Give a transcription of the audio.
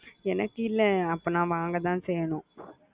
எனக்கு இல்ல அப்போ நான் வாங்க தான் செய்யணும்